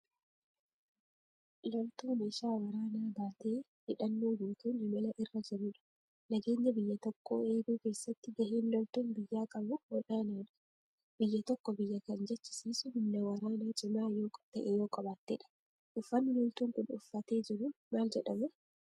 Loltuu meeshaa waraanaa baatee, hidhannoo guutuun imala irra jirudha. Nageenya biyya tokkoo eeguu keessatti gaheen loltuun biyyaa qabu olaanaadha. Biyya tokko biyya kan jechisiisu humna waraanaa cimaa ta'e yoo qabaattedha. Uffanni loltuun kun uffatee jiru maal jedhama?